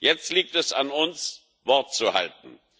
Jetzt liegt es an uns, Wort zu halten.